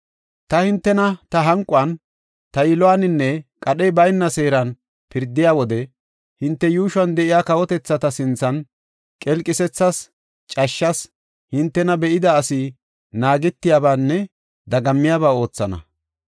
Ta hintena ta hanquwan, ta yiluwaninne, qadhey bayna seeran pirdiya wode hinte yuushuwan de7iya kawotethata sinthan qelqisethas, cashshas, hintena be7ida asi naagetiyabaanne dagammiyaba oothana.